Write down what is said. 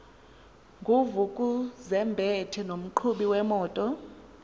nguvukuzumbethe nomqhubi wemoto